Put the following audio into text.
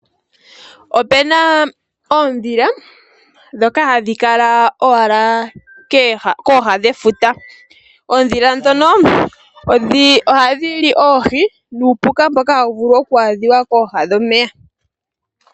Opu na oondhila ndhoka hadhi kala kooha dhefuta. Oondhila ndhoka ohadhi li oohi nuupuka mboka hawu vulu oku adhika kooha dhomeya.